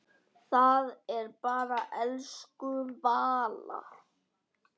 Það er bara elsku Vala.